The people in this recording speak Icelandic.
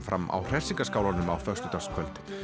fram á á föstudagskvöld